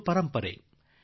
ಅದು ಒಂದು ಪರಂಪರೆ